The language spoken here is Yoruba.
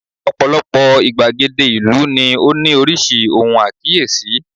ọpọlọpọ igbagede ìlú ni o ni orísirísi ohun akiyesi